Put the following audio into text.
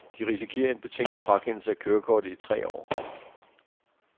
De risikerer en betinget frakendelse af kørekortet i tre år.